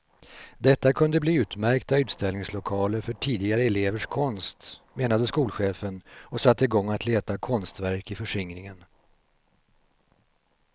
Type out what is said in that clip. Detta kunde bli utmärkta utställningslokaler för tidigare elevers konst, menade skolchefen, och satte igång att leta konstverk i förskingringen.